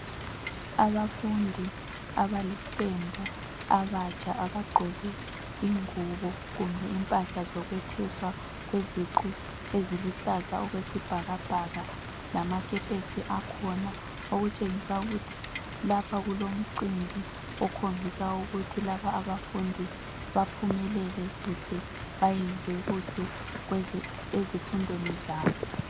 Abafundi abaliqembu, abatsha. Abagqoke ingubo, kumbe impahla zokwetheswa kweziqu eziluhlaza, okwesibhakabhaka. Lamakepesi akhona. Okutshengisa ukuthi lapha kulomcimbi, okhombisa ukuthi laba abafundi baphumelele kuhle. Benze kuhle ezifundweni zabo.